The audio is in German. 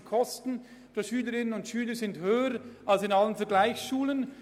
Die Kosten pro Schülerin und Schüler sind höher als in allen Vergleichsschulen.